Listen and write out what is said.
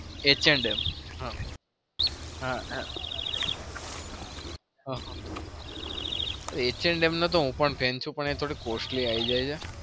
h & m નો તો હું પણ friend છુ પણ એન થોડી costly આયી જાય હ.